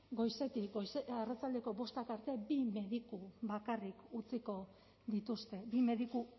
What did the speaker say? goizetik arratsaldeko bostak arte bi mediku bakarrik utziko dituzte bi mediku